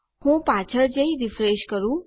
હું પાછળ જઈ રીફ્રેશ કરું